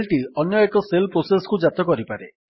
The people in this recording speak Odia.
ଶେଲ୍ ଟି ଅନ୍ୟ ଏକ ଶେଲ୍ ପ୍ରୋସେସ୍କୁ ଜାତ କରିପାରେ